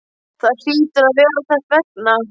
Það hlýtur að vera þess vegna.